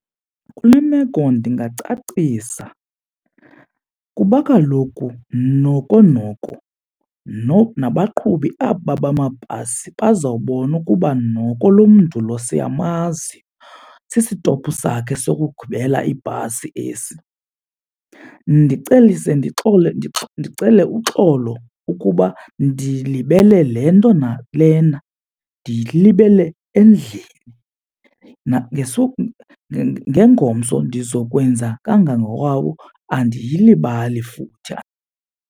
Kule meko ndingacacisa kuba kaloku noko noko nabaqhubi aba bamabhasi bazobona ukuba noko lo mntu lo siyamazi, sisitopu sakhe sokugibela ibhasi esi. Ndicelise ndicele uxolo ukuba ndilibele le nto nalena, ndiyilibele endlini ngengomso ndizokwenza kangangowawo andiyilibali futhi .